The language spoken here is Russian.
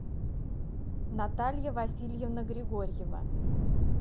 наталья васильевна григорьева